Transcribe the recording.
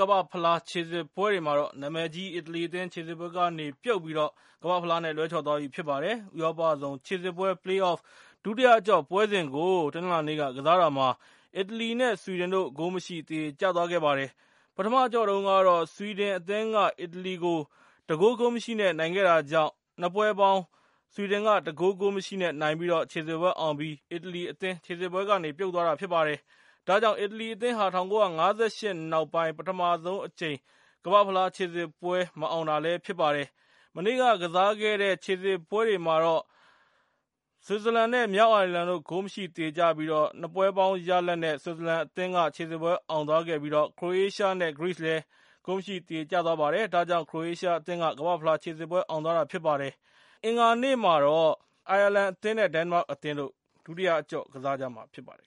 ကမ္ဘာ့ဖလားခြေစစ်ပွဲတွေမှာတော့ နာမည်ကြီးအီတလီအသင်း ခြေစစ်ပွဲကနေ ပြုတ်သွာပြီး၊ ကမ္ဘာ့ဖလားနဲ့ လွဲချော်သွားပါပြီ။ ၂၀၁၈ ကမ္ဘာ့ဖလားခြေစစ်ပွဲ ရှုံးထွက်အဆင့် Play-offs ဒုတိယအကျော့ပွဲတွေကို တနင်္လာနေ့က ကစားတာမှာ အီတလီ နဲ့ ဆွီဒင်တို့ ဂိုးမရှိ သရေကျသွားပါတယ်။ ဆွီဒင်နိုင်ငံမှာ ပထမအကျော့ကစားတုန်းက - ဆွီဒင်က အီတလီကို ၁ ဂိုး ဂိုးမရှိ နဲ့ နိုင်ထားတာဖြစ်ပါတယ်။ ဒါကြောင့် ဆွီဒင်က ၂ ပွဲပေါင်း ၁ ဂိုး ဂိုးမရှိနဲ့ နိုင်ပြီး ခြေစစ်ပွဲအောင်သွားပြီးတော့၊ အီတလီအသင်း ခြေစစ်ပွဲကနေ ပြုတ်သွားတာဖြစ်ပါတယ်။ ဒါဟာ အီတလီအသင်းအနေနဲ့ ၁၉၅၈ ခုနှစ် နောက်ပိုင်းမှာ ပထမဆုံးအကြိမ် ကမ္ဘာ့ဖလားခြေစစ်ပွဲ မအောင်တာဖြစ်ပါတယ်။ တနင်္ဂနွေနေ့ကပွဲစဉ်တွေမှာတော့ ဆွစ်ဇာလန် နဲ့ မြောက်အိုင်ယာလန်တို့ ဂိုးမရှိသရေကျပြီး ၂ ပွဲပေါင်း ဆွစ်ဇာလန်က ၁ ဂိုး ဂိုးမရှိ နဲ့ ခြေစစ်ပွဲအောင်ပြီး၊ ဂရိနဲ့ ခရိုအေးရှားလည်း ဂိုးမရှိသရေကျတာကြောင့် ခရိုအေးရှားအသင်းက ၄ ဂိုး ၁ ဂိုး နဲ့ ခြေစစ်ပွဲအောင်သွားပါတယ်။ အင်္ဂါနေ့ညမှာတော့ အိုင်ယာလန် နဲ့ ဒိန်းမတ်တို့ ကစားကြမှာဖြစ်ပါတယ်